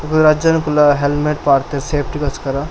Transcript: ಪೂರ ಜನೊಕ್ಕುಲ್ಲ ಹೆಲ್ಮೆಟ್ ಪಾಡ್ಡೆರ್ ಸೇಫ್ಟಿ ಗೋಸ್ಕರ.